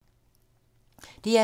DR2